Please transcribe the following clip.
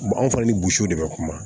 anw fana ni de bɛ kuma